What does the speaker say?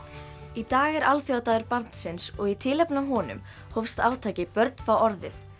í dag er alþjóðadagur barnsins og í tilefni af honum hófst átakið börn fá orðið